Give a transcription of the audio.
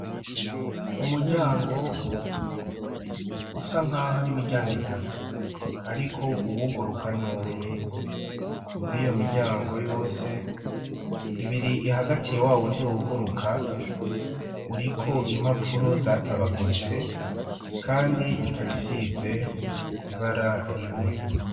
Umuryango usa nk'aho ari imiryango itatu, ariko uwuguruka n'umwe muri iyo miryango yose ibiri ihagatiye wa wundi wuguruka uriko impapuro zatabaguritse, kandi ikabisize ibara rimwe.